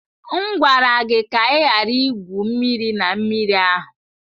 M gwara gị ka ị ghara igwu mmiri na mmiri ahụ!